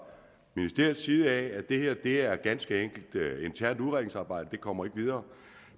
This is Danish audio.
ministeriets side at det her ganske enkelt er internt udredningsarbejde det kommer ikke videre